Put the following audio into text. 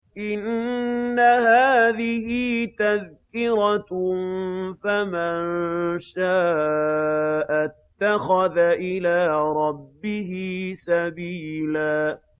إِنَّ هَٰذِهِ تَذْكِرَةٌ ۖ فَمَن شَاءَ اتَّخَذَ إِلَىٰ رَبِّهِ سَبِيلًا